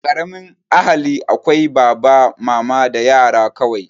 A ƙaramin ahali akwai baba, mama da yara kawai